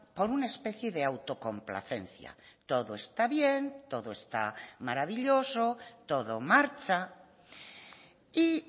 por una especie de autocomplacencia todo está bien todo está maravilloso todo marcha y